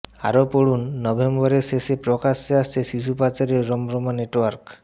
আরও পড়ুন নভেম্বরের শেষে প্রকাশ্যে এসেছে শিশু পাচারের রমরমা নেটওয়ার্ক